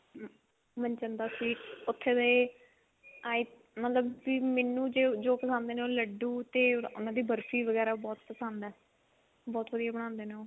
Manchanda sweets ਉੱਥੇ ਦੇ i ਮਤਲਬ ਮੈਨੂੰ ਜੋ ਪਸੰਦ ਨੇ ਲੱਡੂ ਤੇ ਉਹਨਾ ਦੀ ਬਰਫੀ ਵਗੇਰਾ ਬਹੁਤ ਪਸੰਦ ਹੈ ਬਹੁਤ ਵਧੀਆ ਬਣਾਉਂਦੇ ਨੇ ਉਹ